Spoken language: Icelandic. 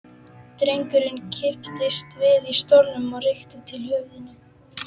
Drengurinn kipptist við í stólnum og rykkti til höfðinu.